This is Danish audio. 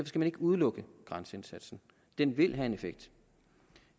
skal man ikke udelukke grænseindsatsen den vil have en effekt